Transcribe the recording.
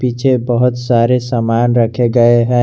पीछे बहुत सारे सामान रखे गए है।